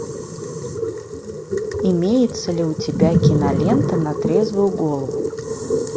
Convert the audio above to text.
имеется ли у тебя кинолента на трезвую голову